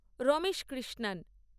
Ramesh Krishnan